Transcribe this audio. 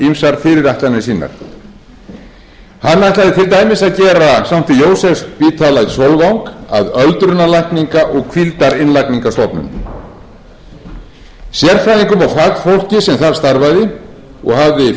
ýmsar fyrirætlanir sínar hann ætlaði til dæmis að gera sankti jósefsspítala að sólvangi að öldrunarlækninga og hvíldarinnlagningarstofnun sérfræðingum og fagfólki sem þar starfaði og hafði framkvæmt skurðaðgerðir skyldi boðið